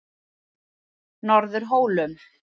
Norðurhólum